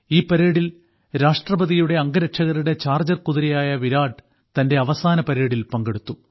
ഈ പരേഡിൽ രാഷ്ട്രപതിയുടെ അംഗരക്ഷകരുടെ ചാർജ്ജർ കുതിരയായ വിരാട് തന്റെ അവസാന പരേഡിൽ പങ്കെടുത്തു